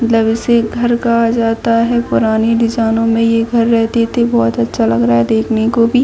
मतलब इसे घर कहा जाता है पुरानी दिसानो मे ये घर रहती थी बहुत अच्छा लग रहा है देखने को भी।